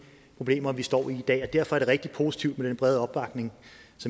problemer vi står i dag og derfor er det rigtig positivt med den brede opbakning